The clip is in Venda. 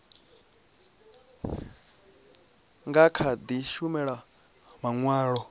nga kha di shumisa manwalo